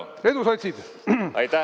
No nii, edu, sotsid!